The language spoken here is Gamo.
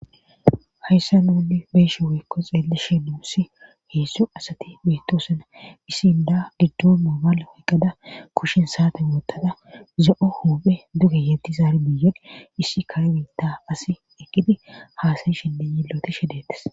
Hayssa nuuni beeshe wekko xeelesheduussi heessu asati bettosuna issinda giddo mobala woyqqada kushin saate moottada zo7o huphe duge yetti zaari biyan issi kare biitta asi ekidi haasayishenne yilloti shedettes.